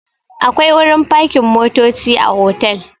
Akwai wurin fakin motoci a otal.